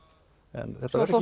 en þetta verður